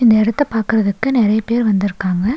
இந்த எடத்த பாக்குறதுக்கு நெறைய பேர் வந்துருக்காங்க.